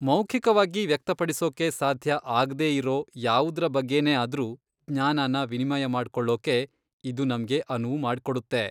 ಮೌಖಿಕವಾಗಿ ವ್ಯಕ್ತಪಡಿಸೋಕೆ ಸಾಧ್ಯ ಆಗ್ದೇ ಇರೋ ಯಾವುದ್ರ ಬಗ್ಗೆನೇ ಆದ್ರೂ ಜ್ಞಾನನ ವಿನಿಮಯ ಮಾಡ್ಕೊಳ್ಳೋಕೆ ಇದು ನಮ್ಗೆ ಅನುವು ಮಾಡ್ಕೊಡುತ್ತೆ.